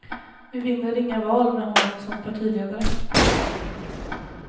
Vi vinner inga val med honom som partiledare. punkt